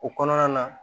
O kɔnɔna na